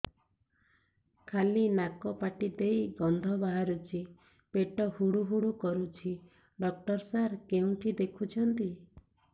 ଖାଲି ନାକ ପାଟି ଦେଇ ଗଂଧ ବାହାରୁଛି ପେଟ ହୁଡ଼ୁ ହୁଡ଼ୁ କରୁଛି ଡକ୍ଟର ସାର କେଉଁଠି ଦେଖୁଛନ୍ତ